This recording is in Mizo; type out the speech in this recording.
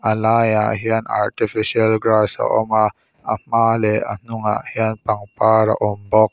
a laiah hian artificial grass a awm a a hma leh a hnungah hian pangpar a awm bawk.